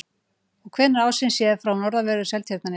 Og hvenær ársins séð frá norðanverðu Seltjarnarnesi?